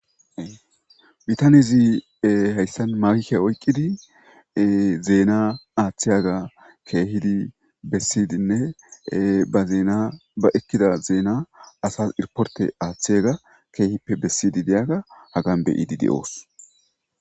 bitanezi hayssan mawke oyqqidi zeena aaththiyaga keehidi bessidinne ba zeena ba ekkida zeena asas irporte aaththeyaga keehippe bessidi deyaga hagan beyidi de7oos